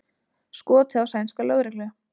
Skotið á sænska lögreglu